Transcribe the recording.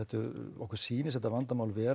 okkur sýnist þetta vandamál vera